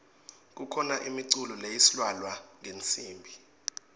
kukhano imiculo leislalwa ngetnsimbi